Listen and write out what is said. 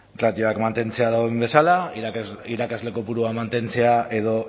ratioak mantentzea dauden bezala irakasle kopurua mantentzea edo